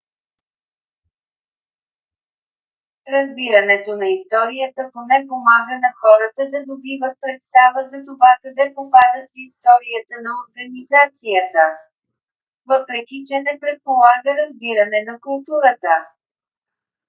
разбирането на историята поне помага на хората да добиват представа за това къде попадат в историята на организацията. въпреки че не предполага разбиране на културата